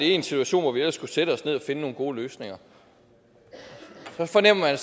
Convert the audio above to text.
en situation hvor vi ellers skulle sætte os ned og finde nogle gode løsninger så fornemmer jeg